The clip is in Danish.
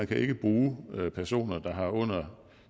kan bruge personer der har under